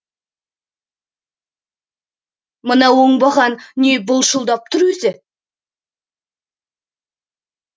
мына оңбаған не былшылдап тұр өзі